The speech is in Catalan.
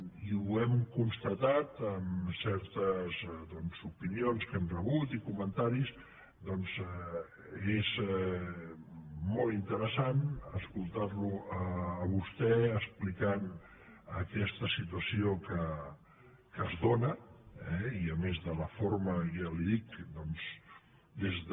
i ho hem constatat amb certes doncs opinions que hem rebut i comentaris molt interessant escoltar lo a vostè explicant aquesta situació que es dóna eh i a més de la forma ja li ho dic doncs des de